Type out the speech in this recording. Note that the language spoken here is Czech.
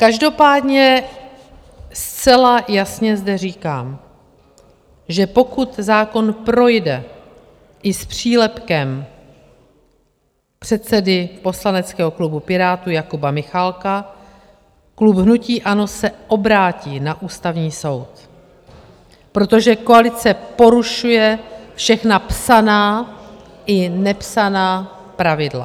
Každopádně zcela jasně zde říkám, že pokud zákon projde i s přílepkem předsedy poslaneckého klubu Pirátů Jakuba Michálka, klub hnutí ANO se obrátí na Ústavní soud, protože koalice porušuje všechna psaná i nepsaná pravidla.